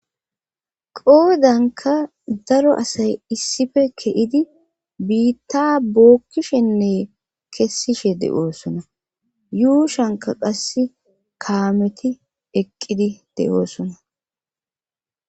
qoodanka daro asay issife ke7idi biitta bookkishenne kessishe de7oosona yuushanka qass kaameti eqqidi de7oosona